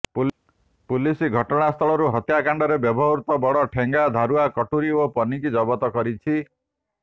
police ଘଟଣାସ୍ଥଳରୁ ହତ୍ୟାକାଣ୍ତରେ ବ୍ୟବହୃତ ବଡ଼ ଠେଙ୍ଗା ଧାରୁଆ କଟୁରୀ ଓ ପନିକି ଜବତ କରିଛି